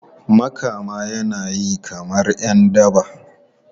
Makama yana yi kamar ’yan daba.